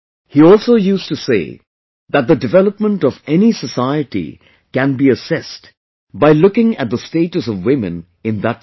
He also used to say that the development of any society can be assessed by looking at the status of women in that society